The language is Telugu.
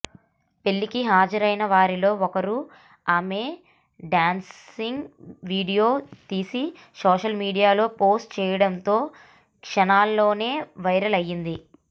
పెళ్లికి హాజరైన వారిలో ఒకరు ఆమె డ్యాన్స్ను వీడియో తీసి సోషల్ మీడియాలో పోస్టు చేయడంతో క్షణాల్లోనే వైరల్ అయింది